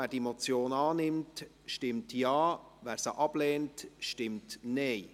Wer die Motion annimmt, stimmt Ja, wer diese ablehnt, stimmt Nein.